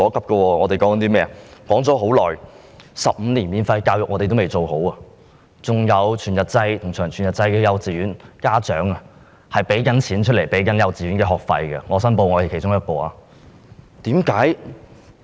例如，多年前提出的15年免費教育，至今尚未成事；還有全日制和長全日制幼稚園，家長仍在支付幼稚園學費——我申報我是其中一名家長。